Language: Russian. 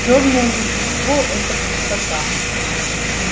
чёрное вещество это пустота